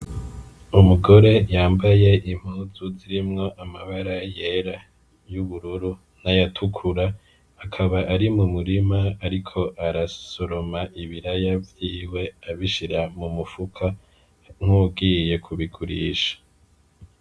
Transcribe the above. Umugore yambaye impuzu zirimwo amabara yera, y'ubururu n'ayatukura ,akaba ari mu murima ariko arasoroma ibiraya vyiwe abishira mu mufuko nk'uwugiye kubigurisha.